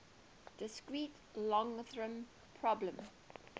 discrete logarithm problem